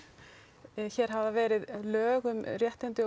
hér hafa verið lög um réttindi og